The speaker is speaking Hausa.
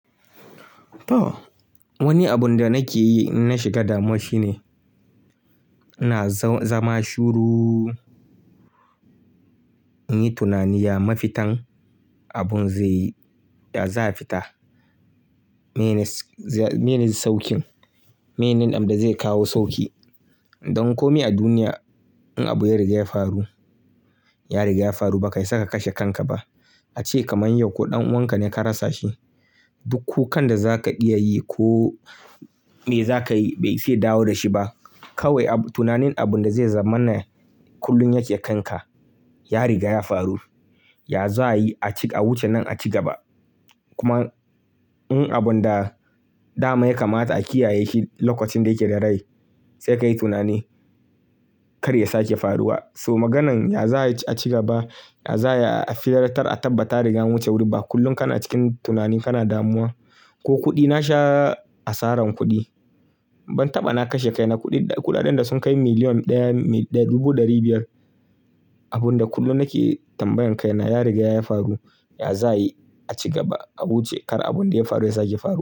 To wani abun da nake yi na shiga damu shi ne, ina zama shuru. In yi tunani ya mafitan abun zai yi, ya za'a fita. Mene sauƙin, mene abunda zai kawo sauƙi. Dan komai a duniya in abu ya riga ya faru, ya riga ya faru, ba ka iya saka kashe kanka ba. Ace kamar yau ko ɗan uwanka ne ka rasa shi, duk kukan zaka iyayi ko me za ka yi bai isa ya dawo da shi ba. Kawai ab tunanin abun da zai zama na kullum yake kanka. Ya riga ya faru, ya za'a yi ac a wuce nan a ci gaba. Kuma in abun da dama ya kamata a kiyaye shi lokacin da yake da rai, sai ka yi tunani kar ya sake faruwa. So maganan ya za'a ci gaba, ya za'ai a tseratar, a tabbata an riga a wuce wuri ba. Kullum kana cikin tunani kana damuwa. Ko kuɗi na sha asaran kuɗi. Ban taɓa na kashe kaina kuɗi, kuɗaɗen da sun kai million ɗaya da dubu ɗari biyar. Abun da kullum nake tambayan kaina ya riga ya faru. Ya za a yi a ci gaba? A wuce kar abun da ya faru ya sake faruwa.